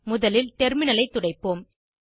முதலில் டெர்மினலை துடைப்போம்